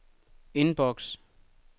indboks